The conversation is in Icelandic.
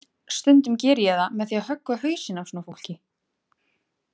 Stundum geri ég það með því að höggva hausinn af svona fólki.